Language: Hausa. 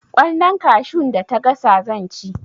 Kwallon kashun da ta gasa zan ci